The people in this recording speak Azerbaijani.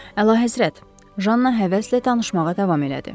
Əlahəzrət, Janna həvəslə tanışmağa davam elədi.